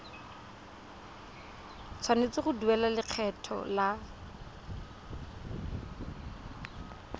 tshwanetse go duela lekgetho la